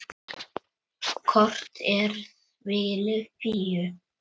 Kort er svili Fíu.